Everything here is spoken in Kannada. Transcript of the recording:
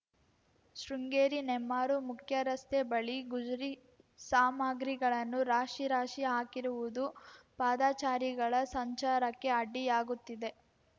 ಶೃಂಗೇರಿ ನೆಮ್ಮಾರು ಮುಖ್ಯರಸ್ತೆ ಬಳಿ ಗುಜರಿ ಸಾಮಗ್ರಿಗಳನ್ನು ರಾಶಿ ರಾಶಿ ಹಾಕಿರುವುದು ಪಾದಚಾರಿಗಳ ಸಂಚಾರಕ್ಕೆ ಅಡ್ಡಿಯಾಗುತ್ತಿದೆ